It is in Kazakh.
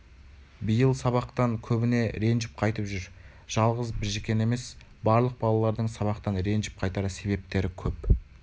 биыл сабақтан көбіне ренжіп қайтып жүр жалғыз біжікен емес барлық балалардың сабақтан ренжіп қайтар себептері кеп